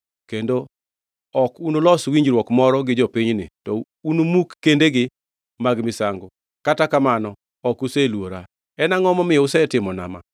kendo ok unulos winjruok moro gi jopinyni, to unumuk kendegi mag misango. Kata kamano, ok useluora. En angʼo momiyo usetimo ma?